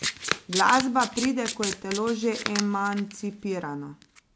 Glasba pride, ko je telo že emancipirano.